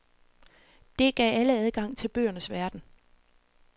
Det gav alle adgang til bøgernes verden.